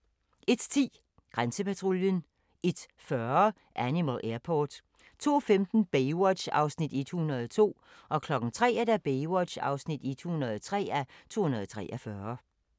01:10: Grænsepatruljen 01:40: Animal Airport 02:15: Baywatch (102:243) 03:00: Baywatch (103:243)